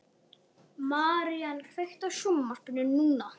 Marían, kveiktu á sjónvarpinu.